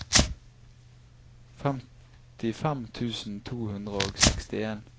femtifem tusen to hundre og sekstien